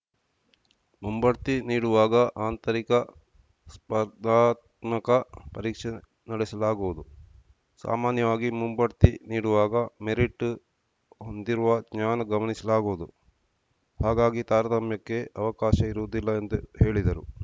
ಮುಂಬಡ್ತಿ ನೀಡುವಾಗ ಆಂತರಿಕ ಸ್ಪರ್ಧಾತ್ಮಕ ಪರೀಕ್ಷೆ ನಡೆಸಲಾಗುವುದು ಸಾಮಾನ್ಯವಾಗಿ ಮುಂಬಡ್ತಿ ನೀಡುವಾಗ ಮೆರಿಟ್‌ ಹೊಂದಿರುವ ಜ್ಞಾನ ಗಮನಿಸಲಾಗುವುದು ಹಾಗಾಗಿ ತಾರತಮ್ಯಕ್ಕೆ ಅವಕಾಶ ಇರುವುದಿಲ್ಲ ಎಂದು ಹೇಳಿದರು